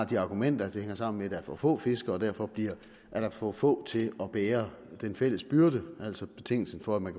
de argumenter at det hænger sammen med at der er for få fiskere og derfor er der for få til at bære den fælles byrde altså betingelsen for at man